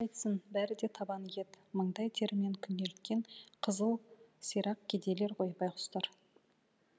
қайтсын бәрі де табан ет маңдай терімен күнелткен қызыл сирақ кедейлер ғой байғұстар